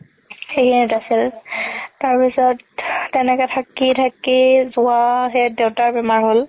আছিল তাৰ পিছত তেনেকে থাকি থাকি যুৱা সেইত দেউতাৰ বেমাৰ হ'ল